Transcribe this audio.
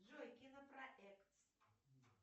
джой кинопроект